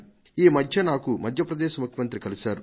ఇటీవల మధ్య ప్రదేశ్ ముఖ్యమంత్రి నన్ను కలిశారు